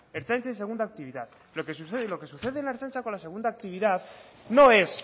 ertzaintza y segunda actividad lo que sucede en la ertzaintza con la segunda actividad no es